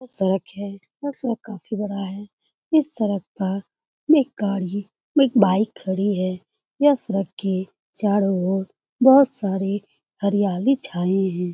यह सड़क है। यह सड़क काफी बड़ा है। इस सड़क पर एक गाड़ी एक बाइक खड़ी है। यह सड़क की चारो और बहुत सारी हरियाली छाई है।